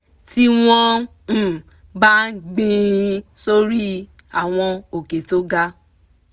tí wọ́n um bá gbìn ín sórí àwọn òkè tó ga